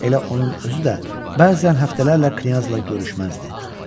Elə onun özü də bəzən həftələrlə knyazla görüşməzdi.